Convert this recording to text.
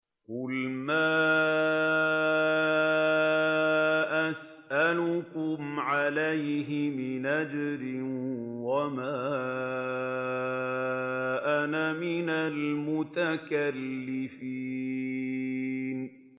قُلْ مَا أَسْأَلُكُمْ عَلَيْهِ مِنْ أَجْرٍ وَمَا أَنَا مِنَ الْمُتَكَلِّفِينَ